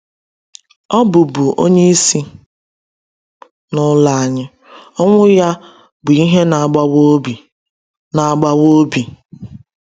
Ọ bụbu onye isi n’ụlọ anyị, ọnwụ ya bụ ihe na-agbawa obi. na-agbawa obi.